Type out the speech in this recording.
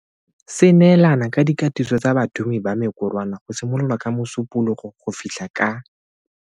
Se neelana ka dikatiso tsa bathumi ba mekorwana go simolola ka Mosupologo go fitlha ka.